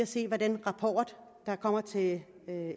se hvad den rapport der kommer til